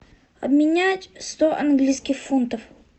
обменять сто английских фунтов